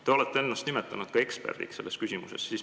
Te olete ennast nimetanud ka eksperdiks selles küsimuses.